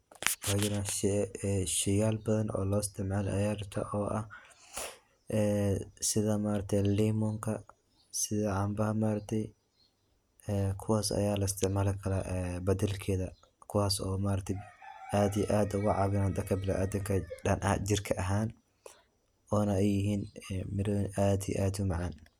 Way jiran. shey yal badan oo loo isticmaalo aya jiran oo ah, ee sida ma aragte limonka, sida cambaha ma aragte ee kuwaas aya la isticmaali karaa badalkeeda kuwaaso ma aragte aad iyo aad oga cabinayan dhanka bini adamka, jirka ahan ona ay yihin mira aad iyo aad umacaan